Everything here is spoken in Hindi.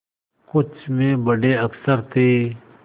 कुछ में बड़े अक्षर थे